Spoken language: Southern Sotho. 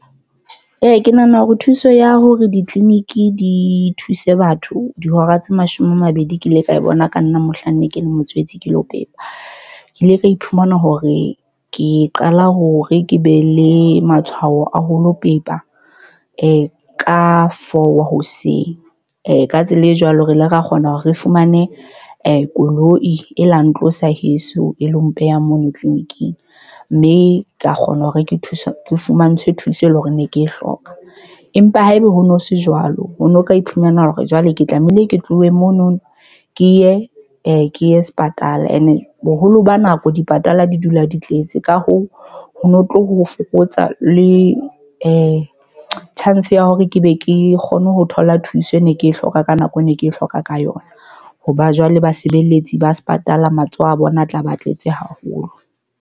Ee, ke nahana hore thuso ya hore ditleliniki di thuse batho dihora tse mashome a mabedi. Ke ile ka e bona ka nna mohlang ne ke le motshehetsi ke lo pepa, ke ile ka iphumana hore ke qala hore ke be le matshwao a ho lo pepa e ka four wa hoseng. Ka tsela e jwalo, re ile ra kgona hore re fumane koloi, e la ntlosa heso e lo mpeha mona tleliniking mme ka kgona ho re ke thusa fumantshwe thuso e leng hore ne ke e hloka. Empa haeba ho no se jwalo ho no ka iphumana hore jwale ke tlamehile ke tlohe monono ke ye ke ye sepatala and boholo ba nako di patala, di dula di tletse, ka hoo, ho no tlo ho fokotsa le chance ya hore ke be ke kgone ho thola thuso, e ne ke e hloka ka nako ne ke hloka ka yona. Hoba jwale basebeletsi ba sepatala matsoho a bona a tla ba tletse haholo.